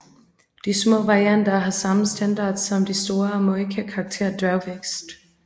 De små varianter har samme standard som de store og må ikke have karakter af dværgvækst